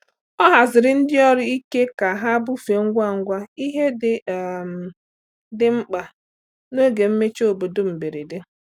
Ọ haziri ndị ọrụ ike ka ha bufee ngwa ngwa ihe ndị um dị mkpa n’oge mmechi obodo mberede.